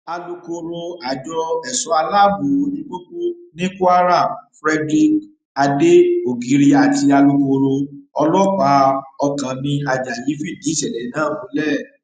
alūkkóró àjọ èso aláàbọ ojú pópó ní kwara frederick ade ogiri àti alūkkóró ọlọpàá ọkánmi ajayi fìdí ìṣẹlẹ náà múlẹ